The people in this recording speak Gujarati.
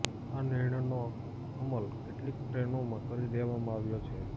આ નિર્ણયનો અમલ કેટલીક ટ્રેનોમાં કરી દેવામાં આવ્યો છે